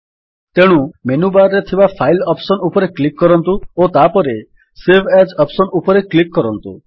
ତେଣୁ menu bar ରେ ଥିବା ଫାଇଲ୍ ଅପ୍ସନ୍ ଉପରେ କ୍ଲିକ୍ କରନ୍ତୁ ଓ ତାହାପରେ ସେଭ୍ ଆଜ୍ ଅପ୍ସନ୍ ଉପରେ କ୍ଲିକ୍ କରନ୍ତୁ